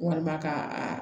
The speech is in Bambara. Walima ka a